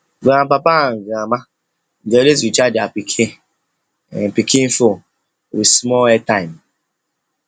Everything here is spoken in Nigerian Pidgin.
grandpapa and grandma dey always recharge their pikin pikin phone with small airtime